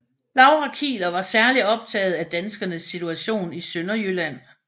Laura Kieler var særlig optaget af danskernes situation i Sønderjylland